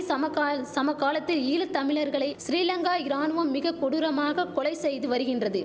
சமகால் சமகாலத்து ஈழ தமிழர்களை சிறிலங்கா இராணுவம் மிக கொடூரமாக கொலை செய்து வரிகின்றது